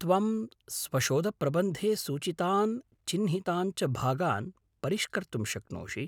त्वं स्वशोधप्रबन्धे सूचितान् चिह्नितान् च भागान् परिष्कर्तुं शक्नोषि।